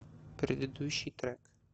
предыдущий трек